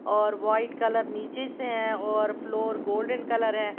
और white collar नीचे से है और फ्लोर गोल्डन कलर है।